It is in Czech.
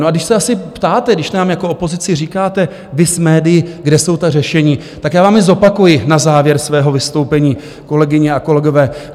No a když se asi ptáte, když nám jako opozici říkáte, vy s médii, kde jsou ta řešení, tak já vám je zopakuji na závěr svého vystoupení, kolegyně a kolegové.